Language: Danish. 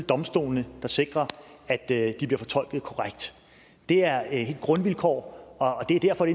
domstolene der sikrer at de bliver fortolket korrekt det er et grundvilkår og det er derfor